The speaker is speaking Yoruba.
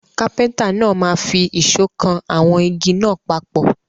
Kápẹ́ńtà náà máa fi ìṣọ́ kan àwọn igi náà papọ̀.